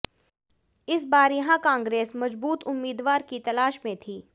इस बार यहां कांग्रेस मजबूत उम्मीदवार की तलाश में थी